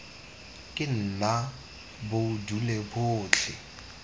ke nna bo dule botlhe